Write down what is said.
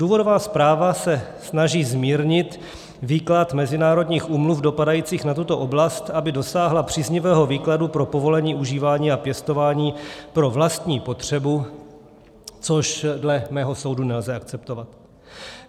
Důvodová zpráva se snaží zmírnit výklad mezinárodních úmluv dopadajících na tuto oblast, aby dosáhla příznivého výkladu pro povolení užívání a pěstování pro vlastní potřebu, což dle mého soudu nelze akceptovat.